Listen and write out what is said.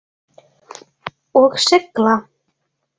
Og sigla?